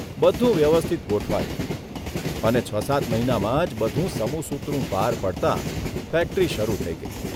બધું વ્યવસ્થિત ગોઠવાયું અને છ સાત મહિનામાં જ બધું સમુસૂતરું પાર પડતા ફેક્ટરી શરૂ થઇ ગઇ.